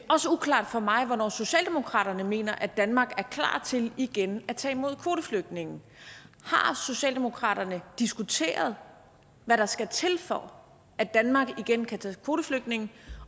uklart for mig hvornår socialdemokratiet mener at danmark er klar til igen at tage imod kvoteflygtninge har socialdemokratiet diskuteret hvad der skal til for at danmark igen kan tage kvoteflygtninge